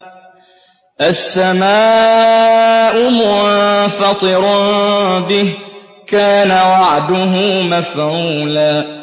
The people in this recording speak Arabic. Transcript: السَّمَاءُ مُنفَطِرٌ بِهِ ۚ كَانَ وَعْدُهُ مَفْعُولًا